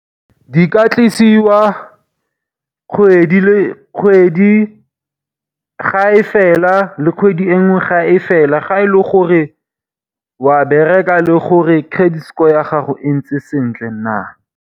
Di ka tlisiwa kgwedi ga e fela le kgwedi e nngwe ga e fela, ga e le gore wa bereka le gore credit score ya gago e ntse sentle na.